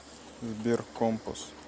сбер компас